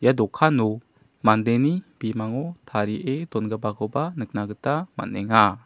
ia dokano mandeni bimango tarie dongipakoba nikna gita man·enga.